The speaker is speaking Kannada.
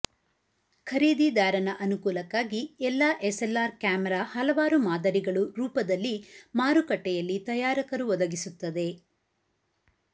ಖರೀದಿದಾರನ ಅನುಕೂಲಕ್ಕಾಗಿ ಎಲ್ಲಾ ಎಸ್ಎಲ್ಆರ್ ಕ್ಯಾಮೆರಾ ಹಲವಾರು ಮಾದರಿಗಳು ರೂಪದಲ್ಲಿ ಮಾರುಕಟ್ಟೆಯಲ್ಲಿ ತಯಾರಕರು ಒದಗಿಸುತ್ತದೆ